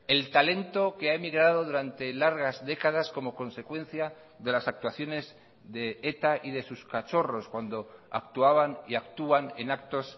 el talento que ha emigrado durante largas décadas como consecuencia de las actuaciones de eta y de sus cachorros cuando actuaban y actúan en actos